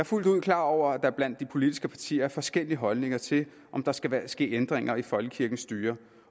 fuldt ud klar over at der blandt de politiske partier er forskellige holdninger til om der skal ske ændringer i folkekirkens styre